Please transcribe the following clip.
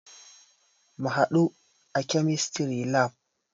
Mu hadu a Chemistry lab.